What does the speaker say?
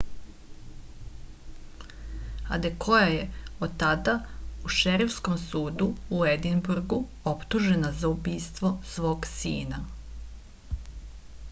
adekoja je od tada u šerifskom sudu u edinburgu optužena za ubistvo svog sina